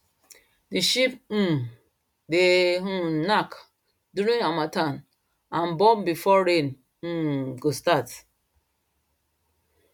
the sheep um dey um knack during harmattan and born before rain um go start